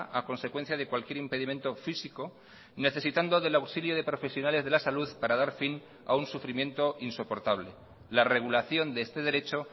a consecuencia de cualquier impedimento físico necesitando del auxilio de profesionales de la salud para dar fin a un sufrimiento insoportable la regulación de este derecho